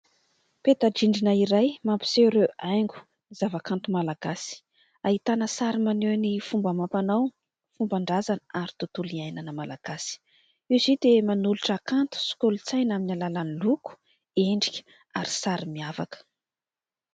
petan _drindrina iray mampiseho ireo haingo ny zava-kanto malagasy ,ahitana sary maneho ny fomba amam-panao , fomban-drazana ary tontolo iainana malagasy . Izy io dia manolotra kanto sykolontsaina amin'ny alalany loko, endrika ary sary miavaka